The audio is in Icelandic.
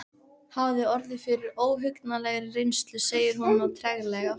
Hafði orðið fyrir óhugnanlegri reynslu, segir hún nú treglega.